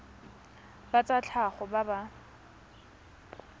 ba tsa tlhago ba ba